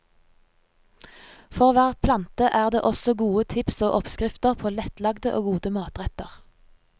For hver plante er det også gode tips og oppskrifter på lettlagde og gode matretter.